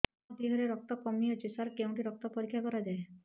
ମୋ ଦିହରେ ରକ୍ତ କମି ଅଛି ସାର କେଉଁଠି ରକ୍ତ ପରୀକ୍ଷା କରାଯାଏ